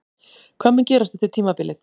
Hvað mun gerast eftir tímabilið?